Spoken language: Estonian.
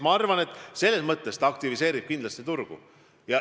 Ma arvan, et reform kindlasti aktiviseerib turgu.